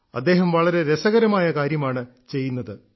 അദ്ദേഹം വളരെ രസകരമായ കാര്യമാണ് ചെയ്യുന്നത്